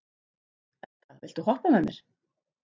Edda, viltu hoppa með mér?